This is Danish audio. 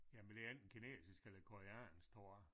Jamen det er enten kinesisk eller koreansk tror jeg